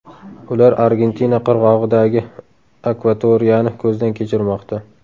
Ular Argentina qirg‘og‘idagi akvatoriyani ko‘zdan kechirmoqda.